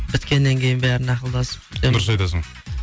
біткеннен кейін бәрін ақылдасып дұрыс айтасың